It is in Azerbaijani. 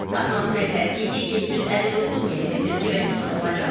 Atmosfer təzyiqi 759 millimetr civə sütunu olacaq.